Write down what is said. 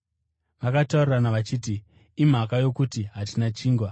Vakataurirana vachiti, “Imhaka yokuti hatina chingwa.”